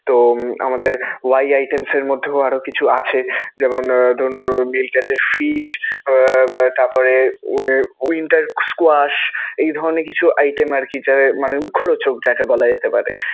তো আমাদের Y items এর মধ্যেও আরও কিছু আছে. যেমনঃ আহ ধরুন, fish তারপরে winter squash এই ধরণের কিছু item আরকি মানে মুখরোচক যাকে বলা যেতে পারে.